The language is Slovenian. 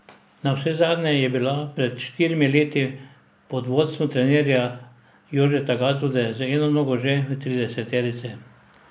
Navsezadnje je bila pred štirimi leti pod vodstvom trenerja Jožeta Gazvode z eno nogo že v trideseterici.